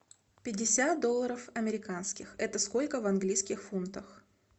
пятьдесят долларов американских это сколько в английских фунтах